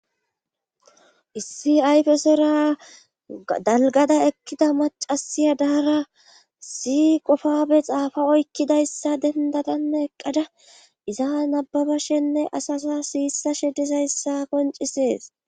issi ayfesera dalgada ekkida macasiya daara si qofabe xaafa oykkidayssa dendadanne eqqada iza nababa shenne asasa siyissashe dizayssa koncisees